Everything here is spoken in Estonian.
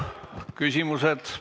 Küsimused.